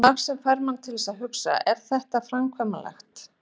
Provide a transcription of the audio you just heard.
Mark sem fær mann til að hugsa: Er þetta framkvæmanlegt?